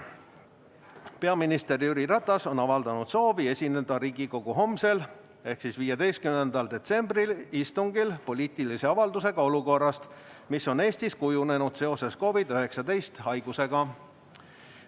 Peaminister Jüri Ratas on avaldanud soovi esineda Riigikogu homsel ehk 15. detsembri istungil poliitilise avaldusega olukorrast, mis on Eestis kujunenud seoses COVID‑19 haigusega.